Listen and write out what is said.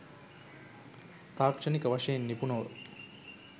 තාක්ෂණික වශයෙන් නිපුන ව